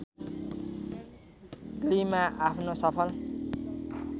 ग्लीमा आफ्नो सफल